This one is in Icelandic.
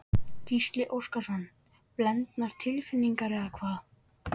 Gísli Óskarsson: Blendnar tilfinningar eða hvað?